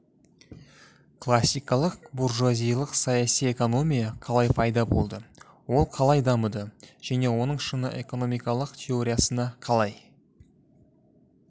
классикалық буржуазиялық саяси экономия қалай пайда болды ол қалай дамыды және оның шыңы экономикалық теориясына қалай